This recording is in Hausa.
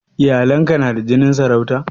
Iyalan ka na da jinin sarauta?